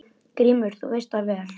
GRÍMUR: Þú veist það vel.